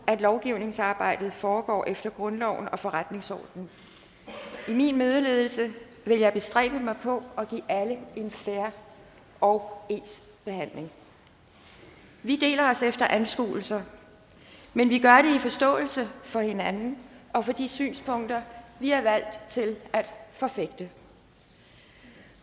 at lovgivningsarbejdet foregår efter grundloven og forretningsordenen i min mødeledelse vil jeg bestræbe mig på at give alle en fair og ens behandling vi deler os efter anskuelser men vi gør det i forståelse for hinanden og for de synspunkter vi er valgt til at forfægte